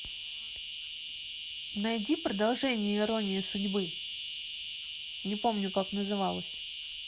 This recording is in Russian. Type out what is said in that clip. найди продолжение иронии судьбы не помню как называлось